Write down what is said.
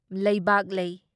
ꯂꯩꯕꯥꯛꯂꯩ